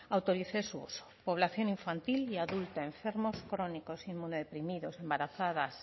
autorice su uso población infantil y adulta enfermos crónicos inmunodeprimidos embarazadas